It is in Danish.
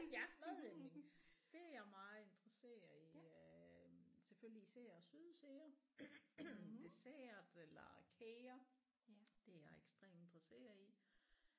Ja madlavning det er jeg meget interesseret i øh selvfølgelig især søde sager dessert eller kager det er jeg ekstremt interesseret i